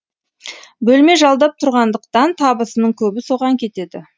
бөлме жалдап тұрғандықтан табысының көбі соған кетеді